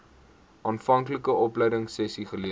aanvanklike opleidingsessies geleer